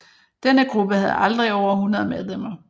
Denne gruppe havde aldrig over 100 medlemmer